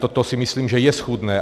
Toto si myslím, že je schůdné.